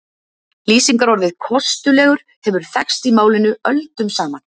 Lýsingarorðið kostulegur hefur þekkst í málinu öldum saman.